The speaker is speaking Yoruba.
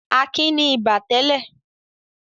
Akin ní ibà tẹ́lẹ̀.